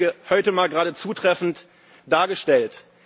Das hat der Kollege Huitema gerade zutreffend dargestellt.